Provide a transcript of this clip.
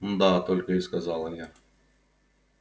мда только и сказала я